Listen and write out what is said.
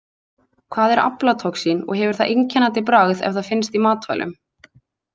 Hvað er aflatoxín og hefur það einkennandi bragð ef það finnst í matvælum?